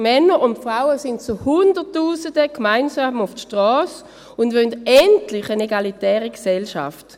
Männer und Frauen gingen zu Hunderttausenden gemeinsam auf die Strasse und wollen endlich eine egalitäre Gesellschaft.